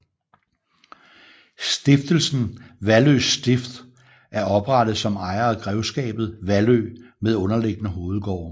Stiftelsen Vallø Stift er oprettet som ejer af grevskabet Vallø med underliggende hovedgårde